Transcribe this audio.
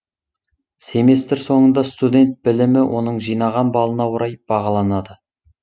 семестр соңында студент білімі оның жинаған балына орай бағаланады